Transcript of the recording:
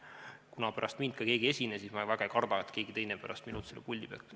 Kuna pärast mind ka keegi siin puldis ei esine, siis ma väga ei karda, et keegi teine pärast minult mingi nakkuse saaks.